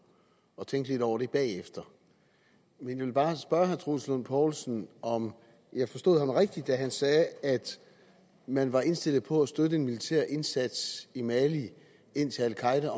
og tænke lidt over det bagefter men jeg vil bare spørge herre troels lund poulsen om jeg forstod ham rigtigt da han sagde at man var indstillet på at støtte en militær indsats i mali indtil al qaeda